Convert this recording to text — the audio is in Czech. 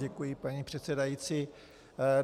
Děkuji, paní předsedající.